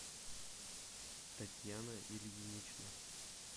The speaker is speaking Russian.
татьяна ильинична